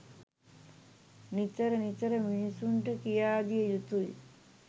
නිතර නිතර මිනිසුන්ට කියා දිය යුතුයි.